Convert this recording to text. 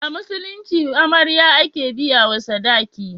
A Musulunci amarya. ake biya wa sadaki